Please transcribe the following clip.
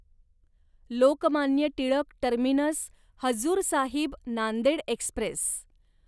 Lokmanya Tilak terminus Hazur Sahib Nanded Express